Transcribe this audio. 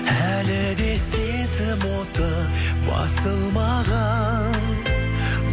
әлі де сезім оты басылмаған